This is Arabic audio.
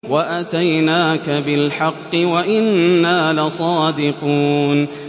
وَأَتَيْنَاكَ بِالْحَقِّ وَإِنَّا لَصَادِقُونَ